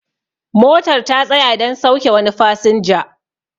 motar ta tsaya don sauke wani fasinja